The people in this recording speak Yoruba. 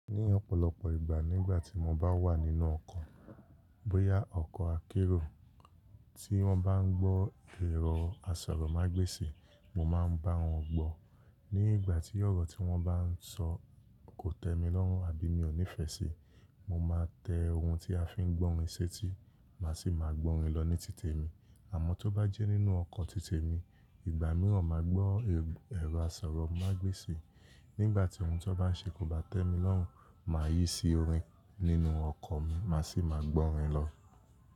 Ní ọ̀pọ̀lọpọ̀ ìgbà nígbà tí mo bá wà nínú ọkọ̀, bóyá ọkọ̀ akérò tí wọ́n bá ń gbọ́ ẹ̀rọ asọ̀rọ̀mágbèsì, mo máa ń bá wọn gbọ́. Nígbà tí ọ̀rọ̀ tí wọ́n bá ń sọ kò tẹ́ mi lọ́rùn àbí mi ò nífẹ̀ẹ́ síi, mo máa tẹ ohun tí a fi ń gbọ́ orin sé tí máa sì máa gbọ́ orin lọ ní títè mi. Àmọ́ tó bá jẹ́ nínú ọkọ̀ títè mi, ìgbà mìíràn máa gbọ́ ẹ̀rọ asọ̀rọ̀mágbèsì, nígbà tí ohun tí wọ́n bá ń ṣe kò bá tẹ́ mi lọ́rùn, màá yí sí orin nínú ọkọ̀ mi máa sì máa gbọ́ orin lọ.